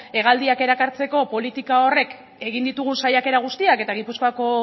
hegaldiak erakartzeko politika horrek egin ditugun saiakera guztiak eta gipuzkoako